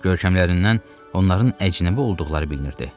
Görkəmlərindən onların əcnəbi olduqları bilinirdi.